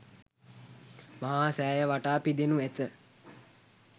මහා සෑය වටා පිදෙනු ඇත.